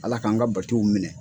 ALA k'an ka batow minɛn.